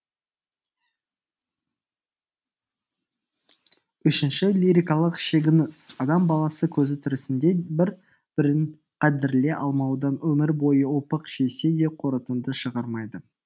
үшінші лирикалық шегініс адам баласы көзі тірісінде бір бірін қадірлей алмаудан өмір бойы опық жесе де қорытынды шығармайды